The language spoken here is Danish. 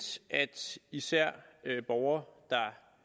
at især borgere der